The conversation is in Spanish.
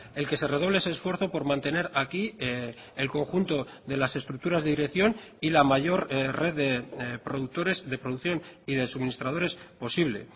el que se redoble ese esfuerzo por mantener aquí el conjunto de las estructuras de dirección y la mayor red de productores de producción y de suministradores posible